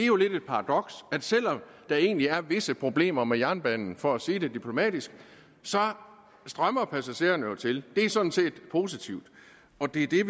jo lidt et paradoks at selv om der egentlig er visse problemer med jernbanen for at sige det diplomatisk så strømmer passagererne jo til det er sådan set positivt og det er